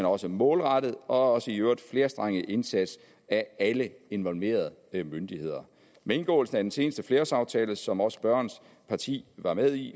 også målrettet og i øvrigt flerstrenget indsats af alle involverede myndigheder med indgåelsen af den seneste flerårsaftale som også spørgerens parti var med i